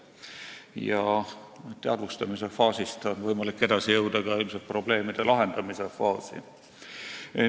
Ilmselt on aga teadvustamise faasist võimalik edasi jõuda ka probleemide lahendamise faasi.